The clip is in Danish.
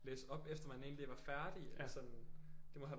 Læse op efter man egentlig var færdig eller sådan det må have været